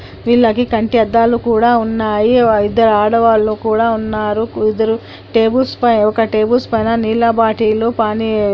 వీళ్ళకి కంటి అద్దాలు కూడా ఉన్నాయి ఓ ఇద్దరూ ఆడవాళ్లు కూడా ఉన్నారు. ఇద్దరూ టేబుల్స్ పై ఒక టేబుల్ పైన నీళ్ల బాటిల్ పానీ ----